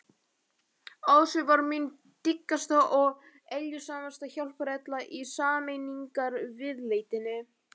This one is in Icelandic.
Ási var mín dyggasta og eljusamasta hjálparhella í sameiningarviðleitninni.